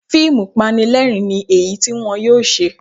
Fíìmù Panilẹ́rìn-ín ni èyí tí wọn yóò ṣe